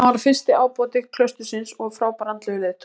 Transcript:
Hann varð fyrsti ábóti klaustursins og frábær andlegur leiðtogi.